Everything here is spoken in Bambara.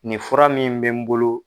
Nin fura min bɛ n bolo.